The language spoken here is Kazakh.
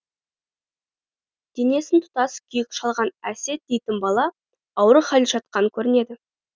денесін тұтас күйік шалған әсет дейтін бала ауыр халде жатқан көрінеді